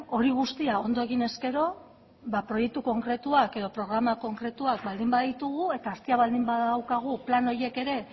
hori guztia ondo eginez gero ba proiektua konkretuak edo programa konkretuak baldin baditugu eta astia baldin badaukagu plan horiek ere